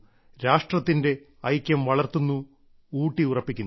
രാഷ്ട്രത്തിന്റെ ഐക്യം വളർത്തുന്നു ഊട്ടിയുറപ്പിക്കുന്നു